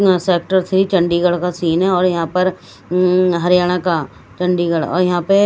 यहां sector three Chandigarh का scene है और यहां पर अं हरियाणा का चंडीगढ़ और यहां पे--